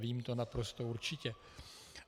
Vím to naprosto určitě.